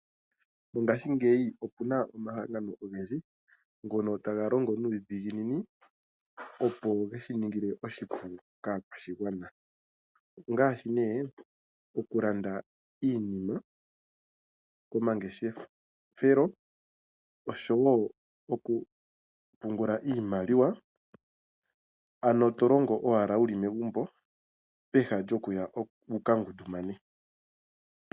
Ngashingeyi opu na omahangano ogendji ngono taga longo nuudhiginini opo ge shi ningile oshipu kaakwashigwana ongaashi okulanda iinima komangeshefelo osho wo okupungula iimaliwa, ano to longo owala wu li megumbo, peha lyokuya wu ka ngundumane.